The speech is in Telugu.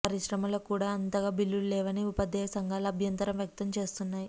పరిశ్రమలకు కూడా ఇంతగా బిల్లులు లేవని ఉపాధ్యాయ సంఘాలు అభ్యంతరం వ్యక్తం చేస్తు న్నాయి